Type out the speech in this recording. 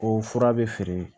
O fura bɛ feere